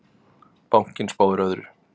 Bankinn spáir öðru.